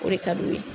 O de ka d'u ye